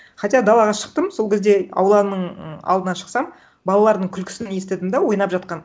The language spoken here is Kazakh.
хотя далаға шықтым сол кезде ауланың м алдына шықсам балалардың күлкісін естідім да ойнап жатқан